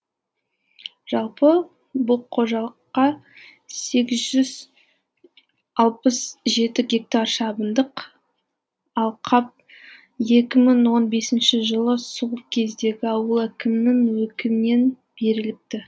жалпы бұл қожалыққа сегіз жүз алпыс жеті гектар шабындық алқап екі мың он бесінші жылы сол кездегі ауыл әкімінің өкімінен беріліпті